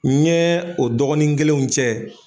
N ɲɛ o dɔgɔnin kelenw cɛ.